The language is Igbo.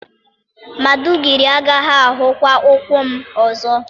Maiduguri agaghị ahụkwa ụkwụ m ọzọ.